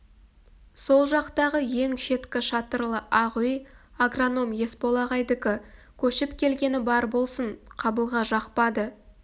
сол жақтағы ең шеткі шатырлы ақ үй агроном есбол ағайдікі көшіп келгені бар болсын қабылға жақпады